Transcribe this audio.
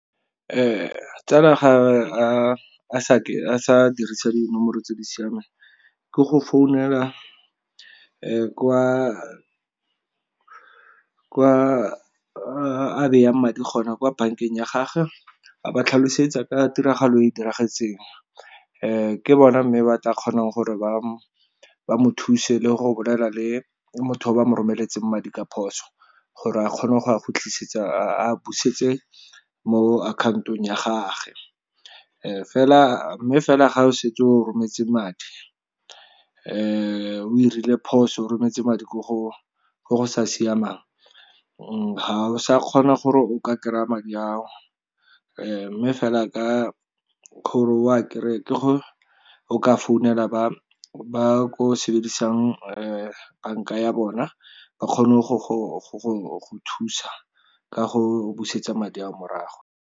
Tsala ga a sa dirisa dinomoro tse di siameng ke go founela kwa a madi gona, kwa bankeng ya gage a ba tlhalosetsa ka tiragalo e e diragetseng. Ke bona mme ba tla kgonang gore ba mo thuse le go bolela le motho o ba mo romeletseng madi ka phoso, gore a kgone go a khutlisetsa a busetse mo akhaotong ya gagwe. Fela mme fela ga o setse o rometse madi o 'irile phoso o rometse madi ko go ko go sa siamang ha o sa kgona gore o ka kry-a madi ao, mme fela ka gore o a kry-e ke go o ka founela ba ko o sebedisang banka ya bona ba kgone go go thusa ka go busetsa madi a o morago.